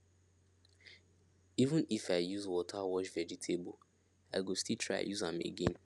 even if i use water wash vegetable i go still try use am again